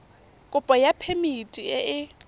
kopo ya phemiti e e